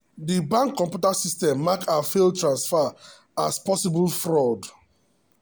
the bank computer system mark her failed transfer as possible fraud.